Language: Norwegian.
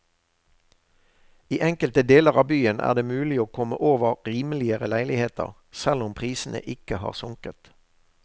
I enkelte deler av byen er det mulig å komme over rimeligere leiligheter, selv om prisene ikke har sunket.